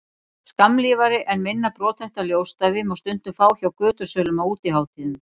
skammlífari en minna brothætta ljósstafi má stundum fá hjá götusölum á útihátíðum